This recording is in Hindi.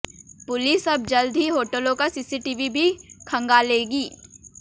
पुलिस अब जल्द ही होटलों का सीसीटीवी भी खंगालेगी